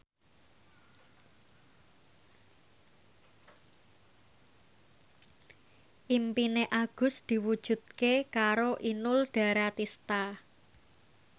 impine Agus diwujudke karo Inul Daratista